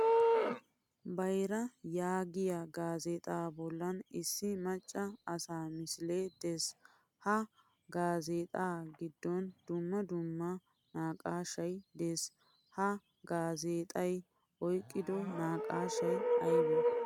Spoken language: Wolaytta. Bayraa yaagiyaa gaazexa bollan issi macca asaa misile de'ees. Ha gaazexxa giddon dumma dumma naqqashshay de'ees. Ha gaazexxay oyqqido naqqaashshay aybe?